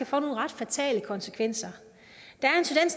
få nogle ret fatale konsekvenser